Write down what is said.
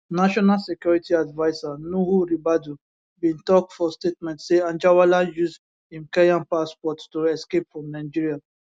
national security adviser nuhu ribadu bin tok for statement say anjarwalla use im kenyan passport to escape from nigeria